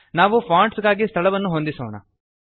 ನಾವು ಫಾಂಟ್ಸ್ ಗಾಗಿ ಸ್ಥಳವನ್ನು ಹೊಂದಿಸೋಣ